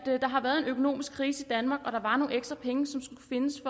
har været en økonomisk krise i danmark og der var nogle ekstra penge som skulle findes